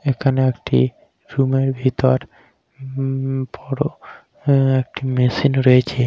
এখানে একটি রুমের ভিতর উমম বড়ো আ একটি মেশিন রয়েছে।